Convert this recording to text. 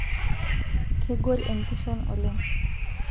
kegol enkishon oleng'